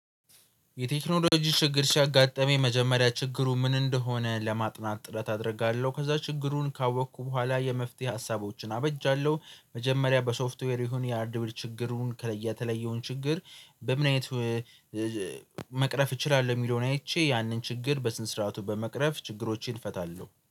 የቴክኖሎጂ ችግር ሲያጋጥመኝ የመጀመሪያ ችግሩ ምን እንደሆነ ለማጥናት ጥረት አደርጋለሁ ከዛ ችግሩን ካወቅኩ በኋላ የመፍትሄ ሀሳቦችን አበጃለሁ። መጀመሪያ በሶፍትዌር ይሁን የአርድዌር ችግሩን ከለየ የተለየውን ችግር በምን አይነት? መቅረፍ እችላለሁ የሚለውን አይቼ ያንን ችግር በስነ ስርዓቱ በመቅረፍ ችግሮችን እፈታለሁ